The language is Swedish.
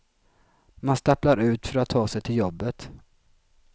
Man stapplar ut för att ta sig till jobbet.